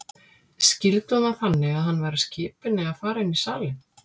Skildi hún það þannig að hann væri að skipa henni að fara inn í salinn?